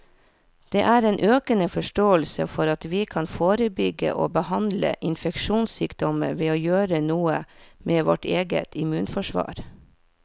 Det er en økende forståelse for at vi kan forebygge og behandle infeksjonssykdommer ved å gjøre noe med vårt eget immunforsvar.